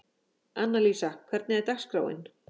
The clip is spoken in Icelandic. Annalísa, hvernig er dagskráin?